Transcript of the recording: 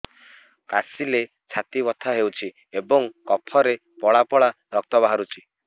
କାଶିଲେ ଛାତି ବଥା ହେଉଛି ଏବଂ କଫରେ ପଳା ପଳା ରକ୍ତ ବାହାରୁଚି